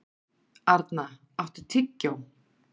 Arna, áttu tyggjó?